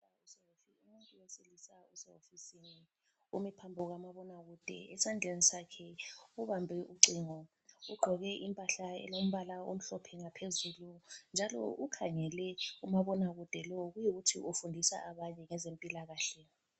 Umuntu wesilisa usewofisini umi phambi kwamabona kude, esandleni sakhe ubambe ucingo. Ugqoke impahla elombala omhlophe ngaphezulu njalo ukhangele kumabonakude lowu kuyikuthi ufundisa abanye ngezempilakahle.